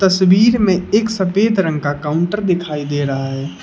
तस्वीर में एक सफेद रंग का काउंटर दिखाई दे रहा है।